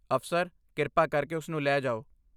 ਅਫਸਰ, ਕਿਰਪਾ ਕਰਕੇ ਉਸਨੂੰ ਲੈ ਜਾਓ।